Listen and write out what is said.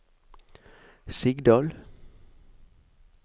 Sigdal